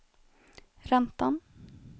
räntan